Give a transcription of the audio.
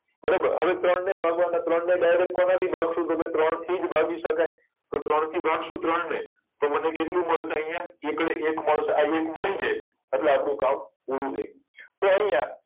બરોબર હવે ત્રણ ને ભાગવા નાં ત્રણ ને direct કોના થી ભાગશું તો કે ત્રણ થી જ ભાગી શકાય તો ત્રણ થી ભાગ્શું ત્રણ ને તો મને કેટલું મળશે અહિયાં તો એકડે એક મળશે આ એક મળી જાય એટલે આપડું કામ પૂરું થઇ ગયું